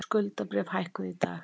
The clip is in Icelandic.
Skuldabréf hækkuðu í dag